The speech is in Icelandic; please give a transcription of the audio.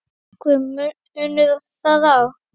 Er einhver munur þar á?